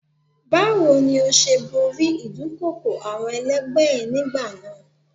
Báwo ni ó ṣe borí ìdúnkokò àwọn ẹlẹgbẹ́ ẹ nígbà náà?